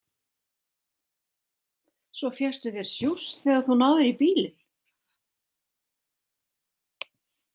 Svo fékkstu þér sjúss þegar þú náðir í bílinn.